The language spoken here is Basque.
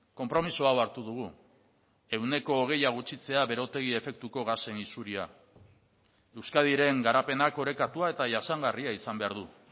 konpromiso hau hartu dugu ehuneko hogeia gutxitzea berotegi efektuko gasen isuria euskadiren garapenak orekatua eta jasangarria izan behar du